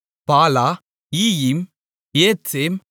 பாலா ஈயிம் ஏத்சேம்